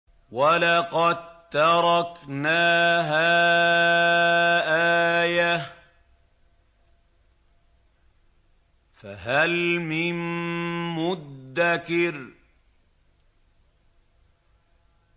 وَلَقَد تَّرَكْنَاهَا آيَةً فَهَلْ مِن مُّدَّكِرٍ